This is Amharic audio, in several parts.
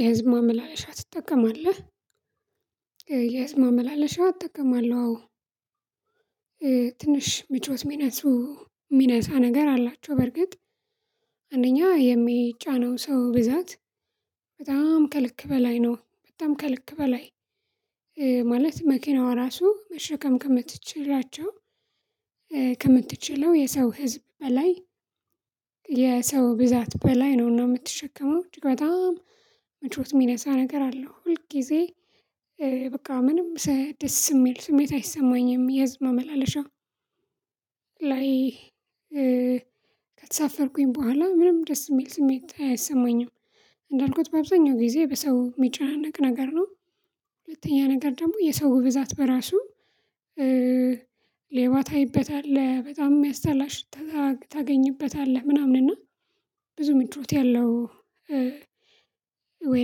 የህዝብ ማመላለሻ ትጠቀማለህ? የህዝብ ማመላለሻ እጠቀማለሁ አዎ። ትንሽ ጭወት የሚነሱ የሚነሳ ነገር አላቸው በርግጥ። አንደኛ የሚጫነው ሰው ብዛት በጣም ከልክ በላይ ነው በጣም ከልክ በላይ። ማለት መኪናዋ ራሱ መሸከም ከምትችላቸው ከምትችለው የሰው ህዝብ በላይ። የሰው ብዛት በላይ ነው የምትሸከመው በጣም ምቾት የሚነሳ ነገር አለው ሁል ጊዜ። በቃ ምንም ደስ የሚል ስሜት አይሰማኝም የህዝብ መላለሻ ላይ ከተሳፈርኩኝ በኋላ ምንም ደስ የሚል ስሜት አይሰማኝም። እንዳልኩት በአብዛኛው ጊዜ በሰው የሚጨነቅ ነገር ነው። ሁለተኛ ነገር ደግሞ የሰው ብዛት በራሱ ሌባ ታይበታለህ በጣም የሚያስጠላ ሽታ ታገኝበታለህ ምናምን እና ብዙ ምችት ያለው። ወይ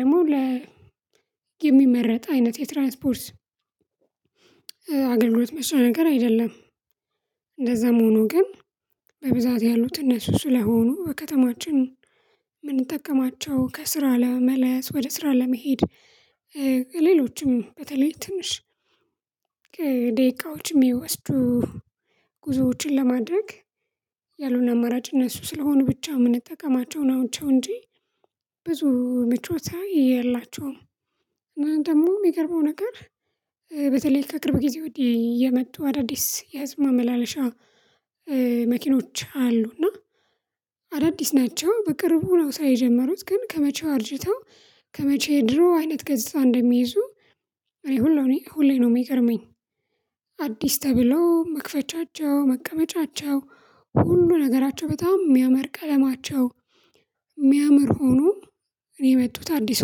ደግሞ ለ የሚመረጥ አይነት የትራንስፖርት አገልግሎት መቼ ነገር አይደለም። እንደዛም ሆኖ ግን በብዛት ያሉት እነሱ ስለሆኑ በከተማችን የምንጠቀማቸው ከስራ ለመመለስ ወደ ስራ ለመሄድ ሌሎችም በተለይ ትንሽ ደቂቃዎችም የሚወስዱ ጉዞዎችን ለማድረግ ያሉት አማራጭ እነሱ ስለሆኑ ብቻ የምንጠቀማቸው ናቸው። እንጂ ብዙ ምቾት የላቸውም። እና ደግሞ የሚገርመው ነገር በተለይ ከቅርብ ጊዜ ወዲህ የመጡ አዳዲስ የህዝብ ማመላለሻ መኪኖች አሉ። እና አዳዲስ ናቸው በቅርቡ ነው ስራ የጀመሩት ግን ከመቼው አርጅተው ከመቼ ድሮ አይነት ገጽታ እንደሚይዙ። እኔ ሁሉ እኔ ሁሌ ነው የሚገርመኝ። አዲስ ተብሎ መክፈቻቸው መቀመጫቸው ሁሉ ነገራቸው በጣም የሚያምር ቀለማቸው የሚያምር ሆኖ እኔ የመጡት አዲስ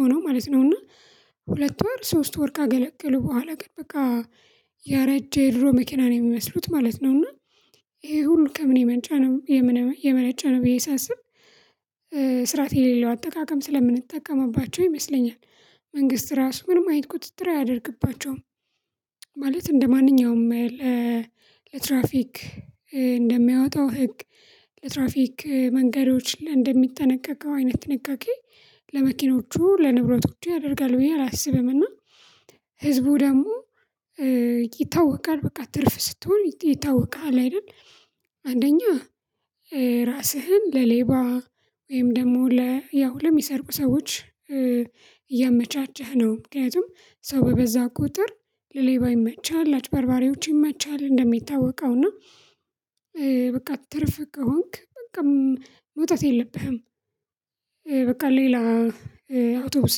ሆኖ ማለት ነው። እና ሁለት ወር ሶስት ወር ካገለገሉ በኋላ ግን በቃ ያረጀ የድሮ መኪና ነው የሚመስሉት ማለት ነው። እና ይሄ ሁሉ ከምን የመንጫ ነው የመነጫ ነው ብዬ ሳስብ ስራት የሌለው አጠቃቀም ስለምንጠቀምባቸው ይመስለኛል። መንግስት ራሱ ምንም አይነት ቁጥጥር አያደርግባቸውም። ማለት እንደማንኛውም ለትራፊክ እንደሚያወጣው ህግ ለትራፊክ መንገዶች እንደሚጠነቀቀው አይነት ጥንቃቄ ለመኪኖቹ ለንብረቶቹ ያደርጋል ብዬ አላስብም። እና ህዝቡ ደግሞ ይታወቃል በቃ ትርፍ ስትሆን ይታወቃል አይደል አንደኛ ራስህን ለሌባ ወይም ደግሞ ለ ያው ለሚሰርቁ ሰዎች ያመቻቸህ ነው። ምክንያቱም ሰው በበዛ ቁጥር ለሌባ ይመቻል ለአጭበርባሪዎች ይመቻል እንደሚታወቀው እና በቃ ትርፍ ከሆንክ በቃ መውጣት የለብህም። በቃ ሌላ አውቶቡስ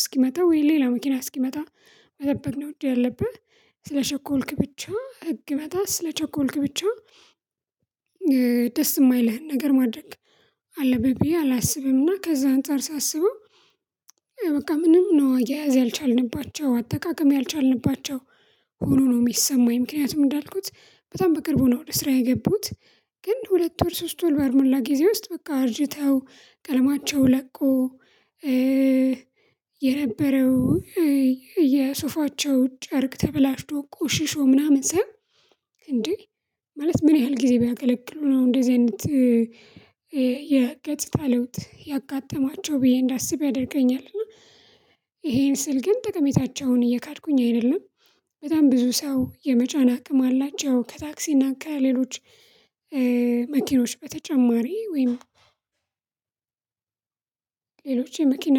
እስኪመጣ ወይ ሌላ መኪና እስኪመጣ መጠበቅ ነው። እንጂ ያለብህ ስለቸኮልክ ብቻ ህግ መጣ ስለቸኮልክ ብቻ ደስ የማይልህን ነገር ማድረግ አለብህ ብዬ አላስብምና። ከዛ አንፃር ሳስበው በቃ ምንም ነው አያያዝ ያልቻልንባቸው አጠቃቀም ያልቻልንባቸው ሆኖ ነው የሚሰማኝ ምክንያቱም እንዳልኩት በጣም በቅርቡ ነው ወደ ስራ የገቡት። ግን ሁለት ወር ሶስቱን በአልሞላ ጊዜ ውስጥ በቃ አርጅተው ቀለማቸው ለቆ እ የነበረው የሶፋቸው ጨርቅ ተበላሽቶ ቆሽሾ ምናምን ሳየው እንዴ ማለት ምን ያህል ጊዜ ቢያገለግሉ ነው እንደዚህ አይነት የገጽታ ለውጥ ያጋጠማቸው ብዬ እንዳስብ ያደርገኛል። እና ይሄን ስል ግን ጠቀሜታቸውን እየካድኩኝ አይደለም። በጣም ብዙ ሰው የመጫን አቅም አላቸው ከታክሲና ከሌሎች መኪኖች በተጨማሪ ወይም ሌሎች የመኪና